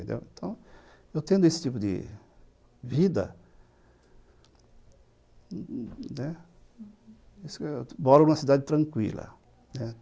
Então, eu tendo esse tipo de vida, né, eu moro numa cidade tranquila.